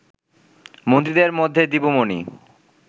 মন্ত্রীদের মধ্যে দীপু মনি